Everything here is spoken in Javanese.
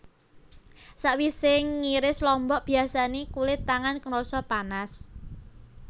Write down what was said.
Sawisé ngiris lombok biyasané kulit tangan krasa panas